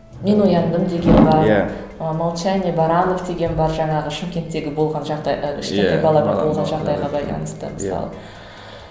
мен ояндым деген бар иә і молчание баранов деген бар жаңағы шымкенттегі болған жағдайға иә кішкентай балаға болған жағдайға байланысты мысалы